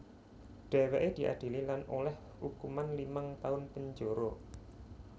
Dhèwèké diadili lan olèh ukuman limang taun penjara